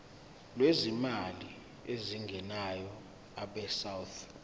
lwezimali ezingenayo abesouth